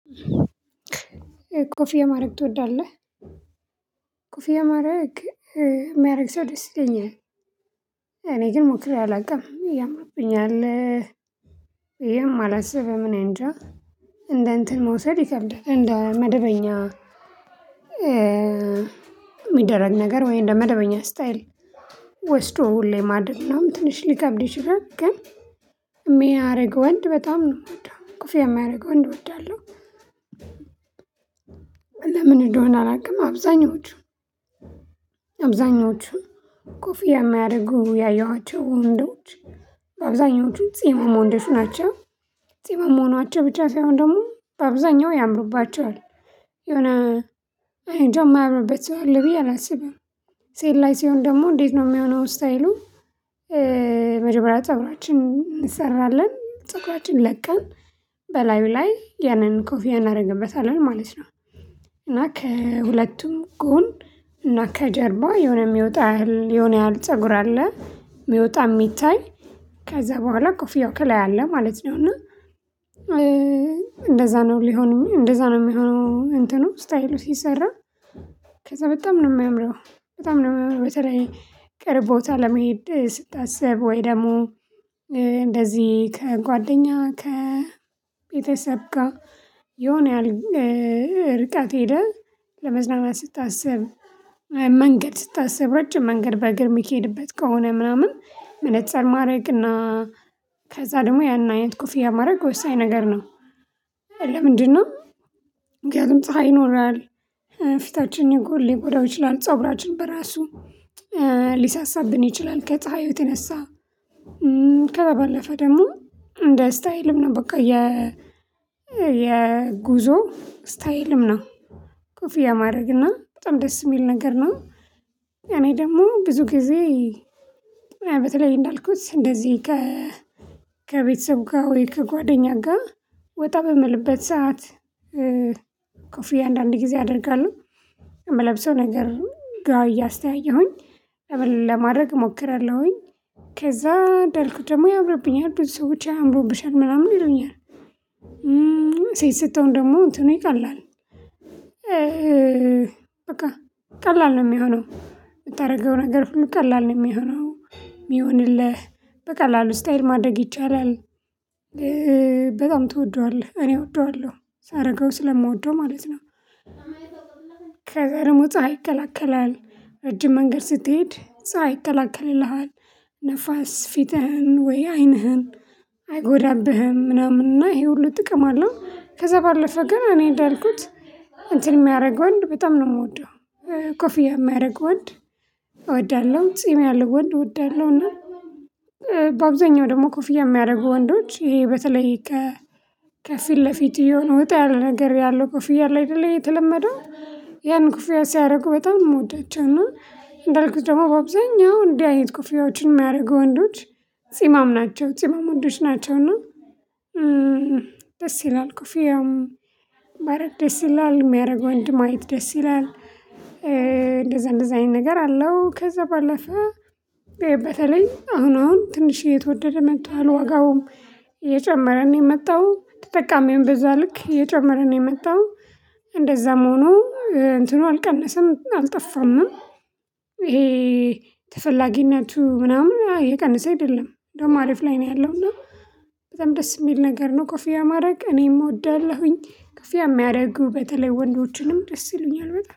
ኮፊያ ማረግ ትወዳለህ ኮፊያ ማድረግ የሚያደርግ ሰው ደስ ይለኛል። እኔ ግን ሞክሬ አላውቅም ያምርብኛል። ብዬም አላስብም እኔእንጃ። እንደ እንትን መውሰድ ይከብዳል እንደ መደበኛ። የሚደረግ ነገር ወይ እንደ መደበኛ ስታይል ወስዶ ሁሌም አይደለም ትንሽ ሊከብድ ይችላል። ግን የሚያደርግ ወንድ በጣም ነው የምወደው ኮፊያ የሚያደርግ ወንድ እወዳለሁ። ለምን እንደሆነ አላውቅም አብዛኞቹ። አብዛኞቹ ኮፍያ የማያደርጉ ያየኋቸው ወንዶች አብዛኞቹ ጺማም ወንዶች ናቸው። ጺማም መሆኗቸው ብቻ ሳይሆን ደግሞ አብዛኛው ያምሩባቸዋል። የሆነ አኔንጃ የማያምርበት ሰው አለ ብዬ አላስብም። ሴት ላይ ሲሆን ደግሞ እንዴት ነው የሚሆነው ስታይሉ? መጀመሪያ ፀጉራችንን እንሰራለን ፀጉራችንን ለቀን በላዩ ላይ ያንን ኮፊያ እናደርግበታለን ማለት ነው። እና ከሁለቱም ጎን እና ከጀርባ የሆነ የሚወጣ ያህል የሆነ ያህል ፀጉር አለ የሚወጣ የሚታይ። ከዛ በኋላ ኮፊያው ከላይ አለ ማለት ነው እና። እንደዛ ነው ሊሆን እንደዛ ነው የሚሆነው እንትኑ ስታይሉ ሲሰራ። ከዛ በጣም ነው የሚያምረው። በጣም ነው በተለይ ቅርብ ቦታ ለመሄድ ስታስብ ወይ ደግሞ እንደዚህ ከጓደኛ ከቤተሰብ ጋር የሆነ ያህል። ርቀት ሄደህ ለመዝናናት ስታስብ መንገድ ስታስብ ረጅም መንገድ በእግር የሚኬድበት ከሆነ ምናምን መነፀር ማድረግ እና። ከዛ ደግሞ ያን አይነት ኮፍያ ማድረግ ወሳኝ ነገር ነው። ለምንድነው? ምክንያቱም ፀሀይ ይኖራል። ፊታችን ይጎላል ሊጎዳው ይችላል ፀጉራችን በራሱ ሊሳሳብን ይችላል ከፀሀዩ የተነሳ። ከዛ ባለፈ ደግሞ ስታይልም ነው በቃ የ የጉዞ ስታይልም ነው። ኮፊያ የማድረግና በጣም ደስ የሚል ነገር ነው። እኔ ደግሞ ብዙ ጊዜ በተለይ እንዳልኩት እንደዚህ። ከቤተሰብ ጋር ወይ ከጓደኛ ጋር ወጣ በምልበት ሰዓት። ኮፍዬ አንዳንድ ጊዜ አደርጋለሁ። የምለብሰው ነገር ጋር እያስተያየሁኝ ተበል ለማድረግ እሞክራለሁኝ። ከዛ እንዳልኩት ደግሞ ያምብረብኛል ብዙ ሰዎች አምሩብሻል ምናምን ይሉኛል። ሴት ሰትሆን ደግሞ እንትኑ ይቀላል። በቃ ቀላል ነው የሚሆነው የምታደርገው ነገር ሁሉ ቀላል ነው የሚሆነው። የሚሆንልህ በቀላሉ ስታይል ማደረግ ይቻላል። በጣም ትወደዋለህ እኔ እወደዋለሁ ሳረገው ስለምወደው ማለት ነው። ከዛ ደግሞ ፀሀይ ይከላከላል ረጅም መንገድ ስትሄድ ፀሀይ ይከላከልልሃል። ንፋስ ፊትህን ወይ አይንህን አይጎዳብህም ምናምን እና ይሄ ሁሉ ጥቅም አለው። ከዛ ባለፈ ግን እኔ እንዳልኩት እንትን የሚያደርገው ወንድ በጣም ነው የምወደው። ኮፍያ የሚያደርግ ወንድ እወዳለሁ ጺም ያለው ወንድ እወዳለሁ እና። በአብዛኛው ደግሞ ኮፍያ የሚያደርጉ ወንዶች ይሄ በተለይ ከፊት ለፊት እየሆነ ወጣ ያለ ነገር ያለው ክፍያ ላይ እለ አይደል የተለመደው? ያን ክፍያ ሲያደርጉ በጣም የምወዳቸው እና። እንዳልኩት ደግሞ በአብዛኛው እንዲህ አይነት ክፍያዎችን የሚያደርጉ ወንዶች ጺማም ናቸው ጺማም ወንዶች ናቸው እና። ደስ ይላል ኮፊውም ባረግ ደስ ይላል የሚያደርገው ወንድ ማየት ደስ ይላል። እንደዛ እንደዛ አይነት ነገር አለው። ከዛ ባለፈ በተለይ አሁን አሁን ትንሽ እየተወደደ መጥቷል ዋጋውም። እየጨመረ ነው የመጣው ተጠቃሚውም በዛ ልክ እየጨመረ ነው የመጣው። እንደዛም ሆኖ እንትኑ አልቀነሰም አልጠፋም። ይሄ ተፈላጊነቱ ምናምን እየቀነሰ አይደለም ደግሞ አሪፍ ላይ ነው ያለው እና። በጣም ደስ የሚል ነገር ነው ኮፊያ ማድረግ እኔም እወዳለሁኝ። ኮፊያ የሚያደርጉ በተለይ ወንዶችንም ደስ ይሉኛል በጣም